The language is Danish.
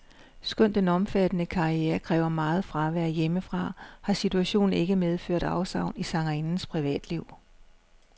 Skønt den omfattende karriere kræver meget fravær hjemmefra, har situationen ikke medført afsavn i sangerindens privatliv.